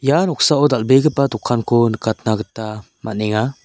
ia noksao dal·begipa dokanko nikatna gita man·enga.